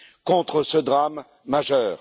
contre ce drame majeur.